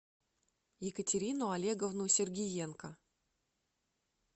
екатерину олеговну сергиенко